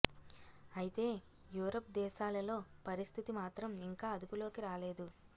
అయితే యూరప్ దేశాలలో పరిస్థితి మాత్రం ఇంకా అదుపులోకి రాలేదు